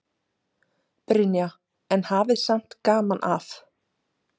Brynja: En hafið samt gaman af?